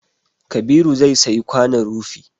Kabiru zai sayi kwanon rufi